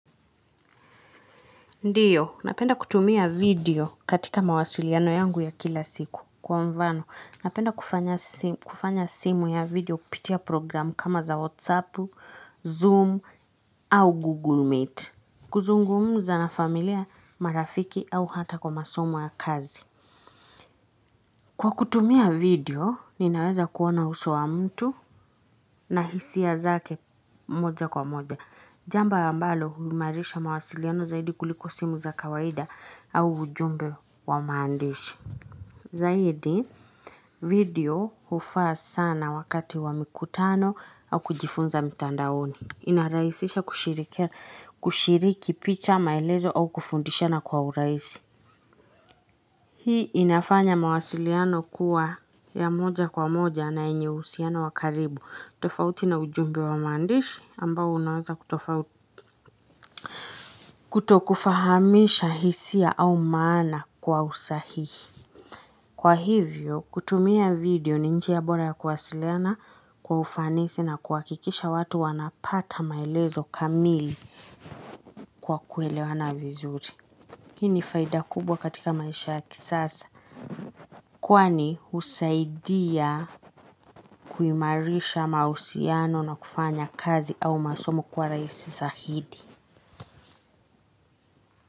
Ndiyo, napenda kutumia video katika mawasiliano yangu ya kila siku. Kwa mvano, napenda kufanya simu ya video kupitia programu kama za WhatsApp, Zoom, au Google Meet. Kuzungumza na familia marafiki au hata kwa masomo ya kazi. Kwa kutumia video, ninaweza kuona uso wa mtu na hisia zake moja kwa moja. Jambo ambalo huimarisha mawasiliano zaidi kuliko simu za kawaida au ujumbe wa maandishi. Zaidi, video hufaa sana wakati wa mikutano au kujifunza mitandaoni. Inarahisisha kushiriki picha maelezo au kufundishana kwa urahisi. Hii inafanya mawasiliano kuwa ya moja kwa moja na yenye uhusiano wa karibu. Tofauti na ujumbe wa maandishi ambao unawaza kutofauti. Kutokufahamisha hisia au maana kwa usahihi kwa hivyo kutumia video ni njia bora ya kuwasiliana kwa ufanisi na kuhakikisha watu wanapata maelezo kamili. Kwa kuelewana vizuri hii ni faida kubwa katika maisha ya kisasa. Kwani husaidia kuimarisha mahusiano na kufanya kazi au masomo kwa rahisi sahidi.